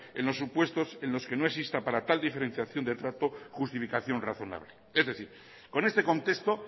en los supuestos en los que no exista para tal diferenciación de trata justificación razonable es decir con este contexto